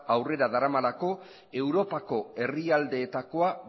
aurrera daramalako europako herrialdeetakoa